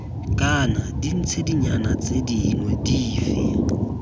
kana ditshedinyana tse dingwe dife